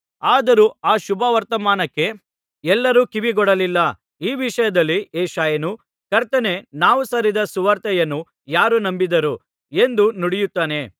ಆದರೂ ಆ ಶುಭವರ್ತಮಾನಕ್ಕೆ ಎಲ್ಲರೂ ಕಿವಿಗೊಡಲಿಲ್ಲ ಈ ವಿಷಯದಲ್ಲಿ ಯೆಶಾಯನು ಕರ್ತನೇ ನಾವು ಸಾರಿದ ಸುವಾರ್ತೆಯನ್ನು ಯಾರು ನಂಬಿದರು ಎಂದು ನುಡಿಯುತ್ತಾನೆ